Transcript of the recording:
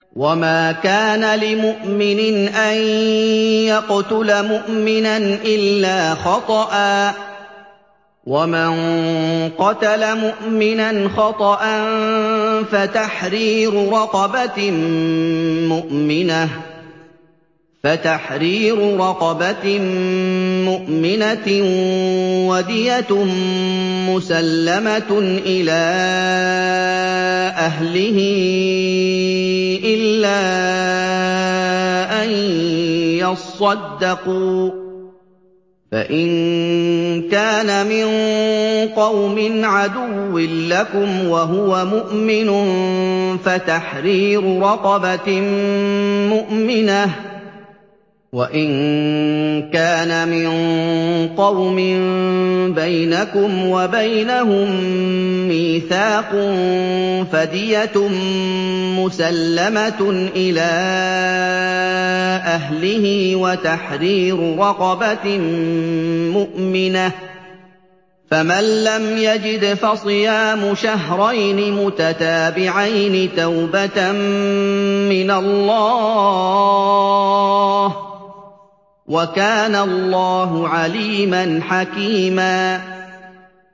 وَمَا كَانَ لِمُؤْمِنٍ أَن يَقْتُلَ مُؤْمِنًا إِلَّا خَطَأً ۚ وَمَن قَتَلَ مُؤْمِنًا خَطَأً فَتَحْرِيرُ رَقَبَةٍ مُّؤْمِنَةٍ وَدِيَةٌ مُّسَلَّمَةٌ إِلَىٰ أَهْلِهِ إِلَّا أَن يَصَّدَّقُوا ۚ فَإِن كَانَ مِن قَوْمٍ عَدُوٍّ لَّكُمْ وَهُوَ مُؤْمِنٌ فَتَحْرِيرُ رَقَبَةٍ مُّؤْمِنَةٍ ۖ وَإِن كَانَ مِن قَوْمٍ بَيْنَكُمْ وَبَيْنَهُم مِّيثَاقٌ فَدِيَةٌ مُّسَلَّمَةٌ إِلَىٰ أَهْلِهِ وَتَحْرِيرُ رَقَبَةٍ مُّؤْمِنَةٍ ۖ فَمَن لَّمْ يَجِدْ فَصِيَامُ شَهْرَيْنِ مُتَتَابِعَيْنِ تَوْبَةً مِّنَ اللَّهِ ۗ وَكَانَ اللَّهُ عَلِيمًا حَكِيمًا